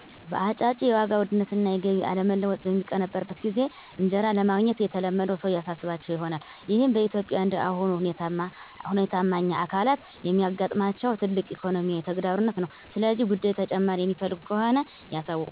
በአጭጬ፦ የዋጋ ዉደነት አና የገቢ አለመለወጥ በሚቀነበረወበት ጊዜ እንጂራ ለማግኘት የተለመደው ሰዉ ያሳሰባቸው ይሆናል። ይህም በኢትዮጵያ እንደ አሁኑ ሁኔታማኛ አካለት የሚያጋጥማቸው ትልቅ ኢኮኖሚያዊ ተግዳሮት ነዉ። ሰለዚህ ጉደይ ተጨማሪ የሚፈልጉ ከሆነ የሳዉቁኝ!